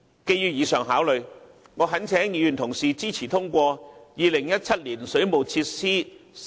基於上述考慮，我懇請議員同事支持通過《條例草案》。